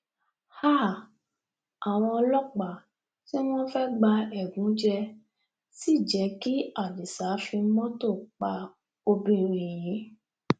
háà àwọn ọlọpàá tí wọn fẹẹ gba ẹgúnjẹ sí jẹ kí adisa fi mọtò pa obìnrin yìí